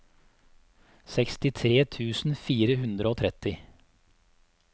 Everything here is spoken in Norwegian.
sekstitre tusen fire hundre og tretti